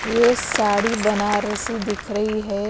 ये साड़ी बनारसी दिख रही है।